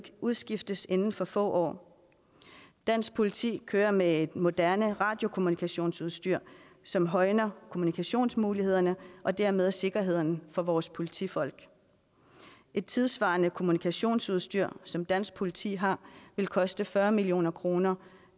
udskiftes inden for få år dansk politi kører med et moderne radiokommunikationsudstyr som højner kommunikationsmulighederne og dermed sikkerheden for vores politifolk et tidssvarende kommunikationsudstyr som dansk politi har vil koste fyrre million kroner